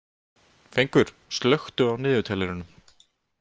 Fengur, slökktu á niðurteljaranum.